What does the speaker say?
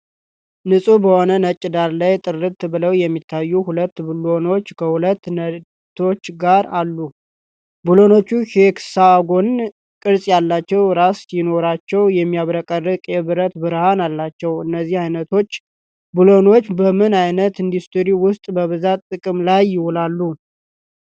ንጹህ በሆነ ነጭ ዳራ ላይ፣ ጥርት ብለው የሚታዩ ሁለት ብሎኖች ከሁለት ነቶች ጋር አሉ። ብሎኖቹ ሄክሳጎን ቅርጽ ያለው ራስ ሲኖራቸው፣ የሚያብረቀርቅ የብረት ብርሃን አላቸው። እነዚህ ዓይነቶች ቡለኖች በምን ዓይነት ኢንዱስትሪ ውስጥ በብዛት ጥቅም ላይ ይውላሉ?